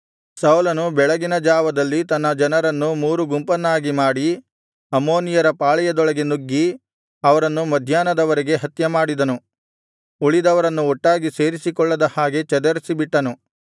ಸೌಲನು ಬೆಳಗಿನ ಜಾವದಲ್ಲಿ ತನ್ನ ಜನರನ್ನು ಮೂರು ಗುಂಪನ್ನಾಗಿ ಮಾಡಿ ಅಮ್ಮೋನಿಯರ ಪಾಳೆಯದೊಳಗೆ ನುಗ್ಗಿ ಅವರನ್ನು ಮಧ್ಯಾಹ್ನದ ವರೆಗೆ ಹತ್ಯೆಮಾಡಿದನು ಉಳಿದವರನ್ನು ಒಟ್ಟಾಗಿ ಸೇರಿಸಿಕೊಳ್ಳದ ಹಾಗೆ ಚದರಿಸಿಬಿಟ್ಟನು